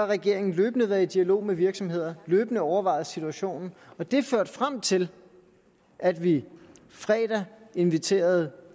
regeringen løbende været i dialog med virksomheder og løbende overvejet situationen og det førte frem til at vi i fredags inviterede